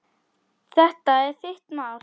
Þetta er þitt mál.